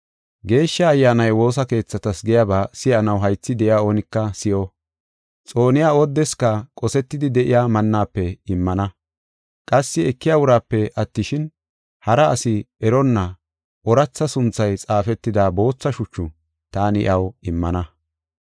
Geeshsha Ayyaanay woosa keethatas giyaba si7anaw haythi de7iya oonika si7o. Xooniya oodeska qosetidi de7iya mannafe immana. Qassi ekiya uraape attishin, hara asi eronna ooratha sunthay xaafetida bootha shuchu taani iyaw immana.